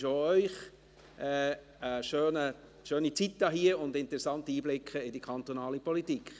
Ich wünsche auch Ihnen eine schöne Zeit hier und interessante Einblicke in die kantonale Politik.